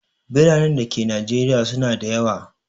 Biranen da ke najeriya su na da yawa